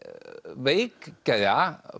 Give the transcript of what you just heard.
veikgeðja